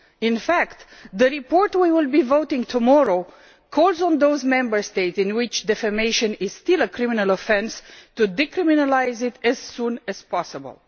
In fact the report we will be voting on tomorrow calls on those Member States in which defamation is still a criminal offence to decriminalise it as soon as possible.